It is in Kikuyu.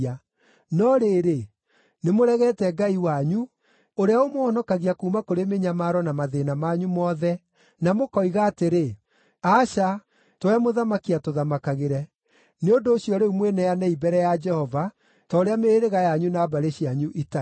No rĩrĩ, nĩmũregete Ngai wanyu, ũrĩa ũmũhonokagia kuuma kũrĩ mĩnyamaro na mathĩĩna manyu mothe, na mũkoiga atĩrĩ, ‘Aca, tũhe mũthamaki atũthamakagĩre.’ Nĩ ũndũ ũcio rĩu mwĩneanei mbere ya Jehova ta ũrĩa mĩhĩrĩga yanyu na mbarĩ cianyu itariĩ.”